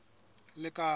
lekala